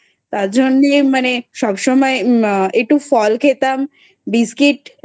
তার জন্যে মানে সবসময় একটু ফল খেতাম. Biscuit